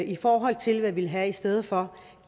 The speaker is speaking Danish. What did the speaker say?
i forhold til hvad vi vil have i stedet for